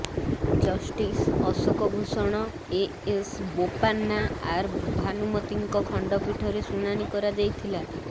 justice Ashok Bhushan A S Bopanna R ଭାନୁମତିଙ୍କ ଖଣ୍ଡପୀଠରେ ଶୁଣାଣି କରାଯାଇଥିଲା